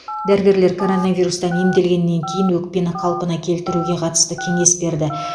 дәрігерлер коронавирустан емделгеннен кейін өкпені қалпына келтіруге қатысты кеңес берді